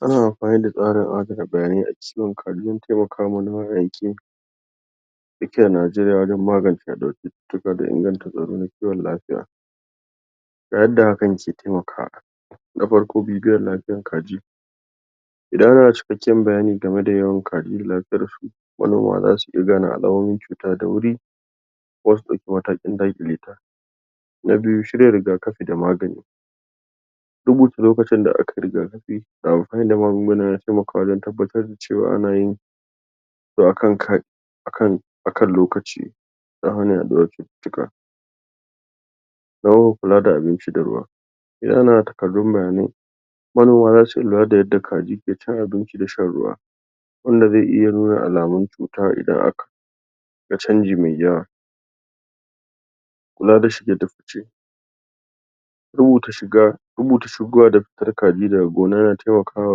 Ana amfani da tsarin adana bayanai a cikin kariyan taimaka ma na yanki dake Nigeria wajan magance daukin cututtuka da inganta tsaro na kiwon lafiya, ta yanda hakan ke taimakawa. Na farko bidiyon lafiyan kaji, idan ana da cikakken bayani game da yawan kaji lafiyar su wanda zasu iya gane alamomin cuta da wurin, ko su dauke matakin daƙeleta. Na biyu, shirya rigakafi da magani, rubuta lokacin da aka yi rigakafi da amfani da magunguna na taimakawa wajan tabbatar cewa ana yin akan lokaci don hana yaduwar cututtuka. Na uku, kula da abinci da ruwa, Idan ana da takadun bayanai, manoma zasu lura da yanda kaji suke cin abinci da shan ruwa, wanda zai iya nuna alamun cuta idan aka ga canji mai yawa. canji mai yawa. Kula da shige da fice, rubuta shiga, rubuta shigowa da fitar kaji daga gona yana taimakawa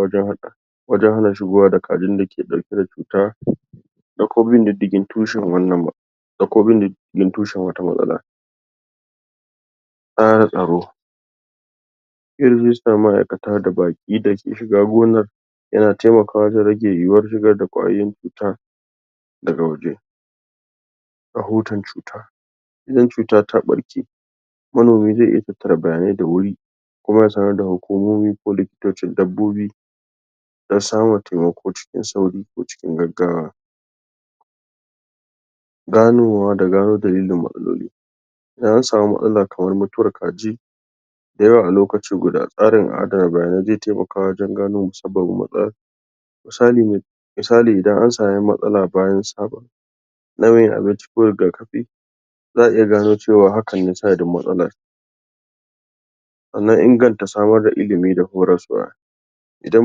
wajan wajen hana shigowa da kajin da ke dauke da cuta, da kuma bin diddigi tushen wannan da kuma bin diddigi tushen wata matsala. Kara tsaro, yanda zai sa ma'aikata da baƙi dake shiga gonar, yana taimakawa wajen rage yiwar shiga da kwayoyin cuta daga waje. Rahoton cuta, Idan cuta ta farke, manomi zai iya tattare bayanai da wuri kuma ya sanar da hukumomi ko likitocin dabbobi don samun taimako cikin sauri ko cikin gaggawa. Ganowa da ganar da inda matsalolin. Idan an samu matsala kamar mutuwar kaji dayawa a lokacin guda, tsarin adana bayanai zai taimaka wajan gano musabbabin matsalan. Misalin Misalin idan an same matsala bayan saɓon nauyin abinci ko rigakafi, za'a iya gano cewa hakan ne sanadin matsalan. Sannan inganta samar da ilimi da kuma hauraswa, Idan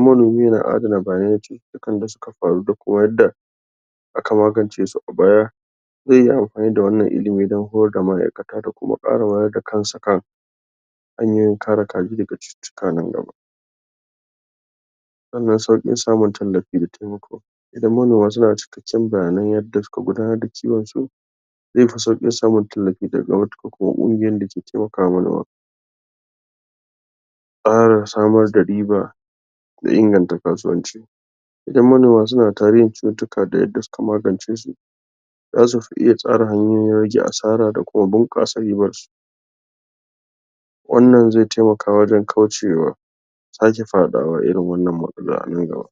manomi yana adana bayanan cututtukan da suka faru da kuma yadda aka magance su a baya, zai yi amfani da wannan ilimi don horar da ma'aikata da kuma ka wayar da kansa kan hanyoyi kare kaji daga cututtuka nan gaba. Sannan saukin samun tallafi da taimako, idan manoma suna da cikakken bayanai yanda suka gudanar da kiwon su, zai fi saukin samun tallafi daga matukar hukumomi dake ka taimakawa. Kara samar da riɓa da inganta kasuwanci, Idan manoma suna da tarihi cututtuka da yanda suka magance shi, zasu fi iya samar da hanyoyin rage asara da kuma bunkasa riɓar su. Wannan zai taimaka wajen kaucewa sake fadawa a irin wannan matsala a nan gaba.